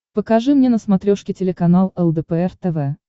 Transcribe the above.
покажи мне на смотрешке телеканал лдпр тв